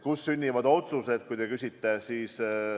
Kuidas sünnivad otsused?